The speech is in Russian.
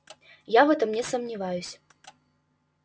я в этом не сомневаюсь